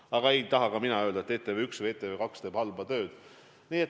Aga ei taha ka mina öelda, et ETV või ETV2 teeb halba tööd.